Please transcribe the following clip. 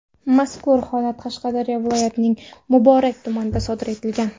Mazkur holat Qashqadaryo viloyatining Muborak tumanida sodir etilgan.